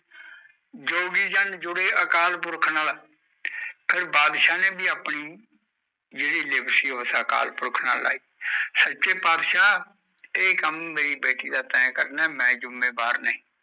ਜੋਗੀ ਜਾਂ ਜੁੜੇ ਅਕਾਲ ਪੂਰਕ ਨਾਲ ਫਰ ਬਾਦਸ਼ਾ ਨੇ ਆਪਣੇ ਅਕਾਲ ਪੁਰਖ ਨਾਲ ਲਈ ਸਾਚੇ ਪਦਸ਼ਾ ਏ ਕਾਮ ਮੇਰੀ ਬੇਟੀ ਦਾ ਤੇ ਕੈਨਨਾ ਹੈ ਮੈ ਨਹੀਂ